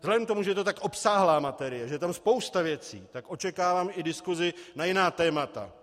Vzhledem k tomu, že je to tak obsáhlá materie, že je tam spousta věcí, tak očekávám i diskusi na jiná témata.